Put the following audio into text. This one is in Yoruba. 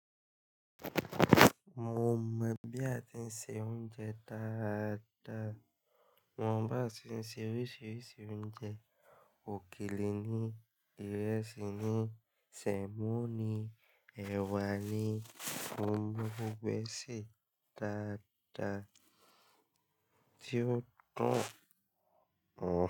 Mo mọ̀ bí a ti ṣe oúnjẹ dáadáa. Mo mọ bí a ti ń se oríṣiríṣi oúnjẹ òkèlè ni, ìrẹsì ni, semo ni, ẹ̀wà ni, mo mọ́ gbogbo e se dáadáa tí ó dun.